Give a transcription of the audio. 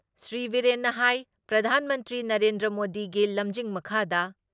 ꯁ꯭ꯔꯤ ꯕꯤꯔꯦꯟꯅ ꯍꯥꯏ ꯄ꯭ꯔꯙꯥꯟ ꯃꯟꯇ꯭ꯔꯤ ꯅꯔꯦꯟꯗ꯭ꯔ ꯃꯣꯗꯤꯒꯤ ꯂꯝꯖꯤꯡ ꯃꯈꯥꯗ